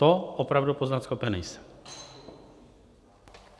To opravdu poznat schopen nejsem.